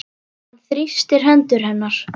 Hann þrýstir hendur hennar.